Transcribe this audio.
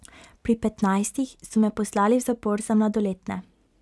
Pri petnajstih so me poslali v zapor za mladoletne.